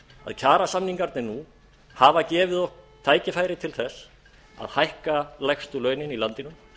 að kjarasamningarnir nú hafa gefið okkur tækifæri til þess að hækka lægstu launin í landinu